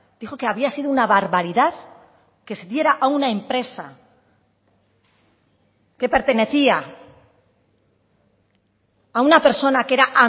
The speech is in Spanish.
dijo que había sido una barbaridad que se diera a una empresa que pertenecía a una persona que era